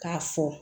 K'a fɔ